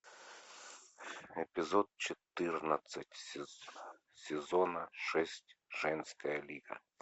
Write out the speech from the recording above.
эпизод четырнадцать сезона шесть женская лига